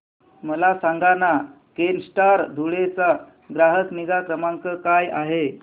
मला सांगाना केनस्टार धुळे चा ग्राहक निगा क्रमांक काय आहे